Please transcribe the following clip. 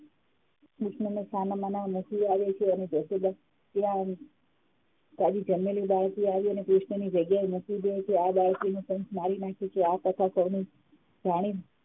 કૃષ્ણને છાનામાના મૂકી આવે છે અને જશોદા ત્યા જન્મેલી બાળકીને લાવી કૃષ્ણની જગ્યાએ મૂકી દે છે આ બાળકીને કંસ મારી નાખે છે આ કથા સૌને જાણી